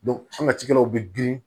an ka cikɛlaw bɛ girin